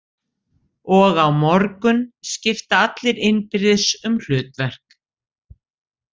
Og á morgun skipta allir innbyrðis um hlutverk.